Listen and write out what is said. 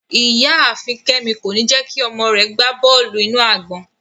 Iyaafin Kemi ko ni jẹ ki ọmọ rẹ gba bọọlu-inu-agbọn